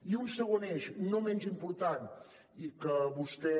i un segon eix no menys important i que vostè